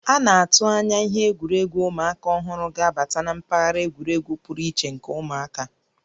A na-atụ anya ihe egwuregwu ụmụaka ọhụrụ ga-abata na mpaghara egwuregwu pụrụ iche nke ụmụaka